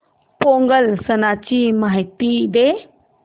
पोंगल सणाची माहिती दे